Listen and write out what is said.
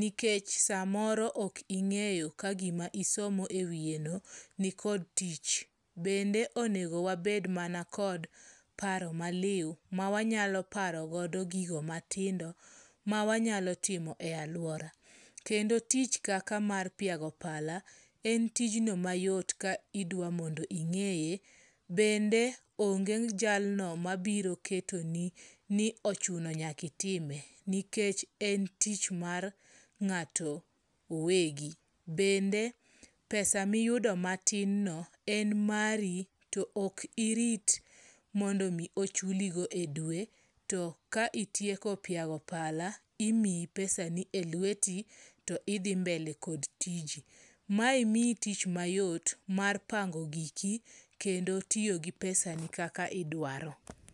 Nikech samoro ok ing'eyo ka gima isomo ewiyeno nikod tich. Bende onego wabed mana kod paro maliw mawanyalo paro godo gigo matindo mawanyalo timo e aluora. Kendo tich kaka mar piago pala, en tijno mayot kidwa mondo ing'eye. Bende onge jalno mabiro ketoni ni ochuno nyaka itime. Nikech en tich mar ng'ato owegi. Bende pesa miyudo matin no, en mari to ok irit mondo mi ochuligo edwe, to ka itieko piago pala, imiyi pesani e lweti to idhi mbele kod tiji. Mae miyi tich mayot mar pango giki kendo tiyo gi pesani kaka idwaro.